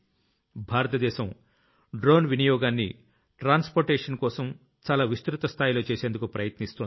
భారతదేశం డ్రోన్ వినియోగాన్ని ట్రాన్స్పోర్టేషన్ కోసం చాలా విస్తృత స్థాయిలో చేసేందుకు ప్రయత్నిస్తోంది